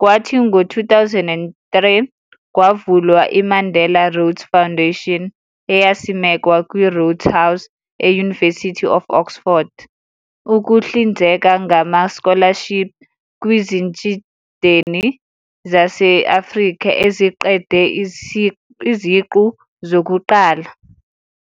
kwathi ngo 2003, kwavula i-Mandela Rhodes Foundation eyasimekwa kwi-Rhodes House, e-University of Oxford, ukuhlinzeka ngama-scholarship kwizitshudeni zase-Afrika eziqede iziqu zokuqala.